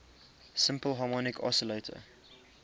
simple harmonic oscillator